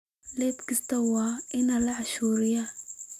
Iib kasta waa la canshuuraa.